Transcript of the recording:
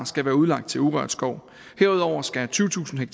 skal være udlagt til urørt skov herudover skal tyvetusind